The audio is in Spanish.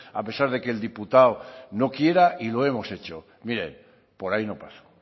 a pesar de que el diputado no quiera y lo hemos hecho miren por ahí no paso